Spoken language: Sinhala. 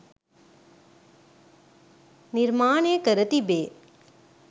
නිර්මාණය කර තිබේ.